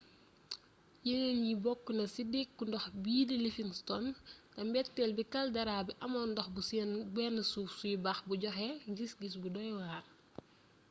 yénéén yi bokkna ci deeku ndox biidi livingston té mbéttél bi caldera bi amoon ndox bu bénn suuf suy bax bu joxé gisggis bu doy war